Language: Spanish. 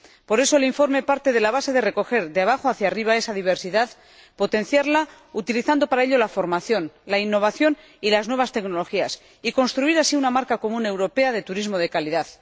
Por eso, el informe parte de la base de recoger de abajo hacia arriba esa diversidad, potenciarla, utilizando para ello la formación, la innovación y las nuevas tecnologías, y construir así una marca común europea de turismo de calidad.